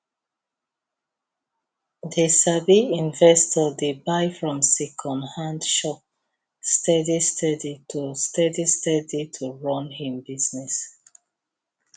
the sabi investor dey buy from secondhand shop steady steady to steady steady to run him business